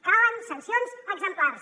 calen sancions exemplars